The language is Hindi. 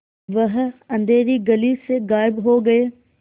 वह अँधेरी गली से गायब हो गए